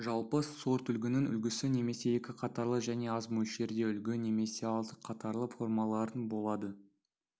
жалпы сортүлгінің үлгісі немесе екі қатарлы және аз мөлшерде үлгі немесе алты қатарлы формалары болды